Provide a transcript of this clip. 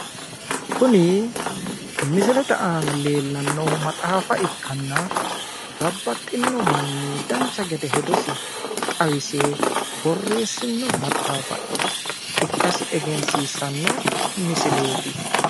Kuni misilete aana leelannohu maxaafa ikkanna babbaxxino manni dancha gede hedosi xawise borressino maxaafa ikkasi egensiisanno misileeti